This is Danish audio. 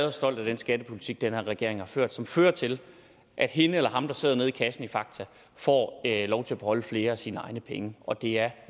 og stolt af den skattepolitik den her regering har ført og som fører til at hende eller ham der sidder nede i kassen i fakta får lov til at beholde flere af sine egne penge og det er